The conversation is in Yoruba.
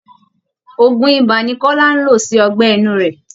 Òògùn ibà ni Kọ́lá ń lò sí ọgbẹ́ inú rẹ̀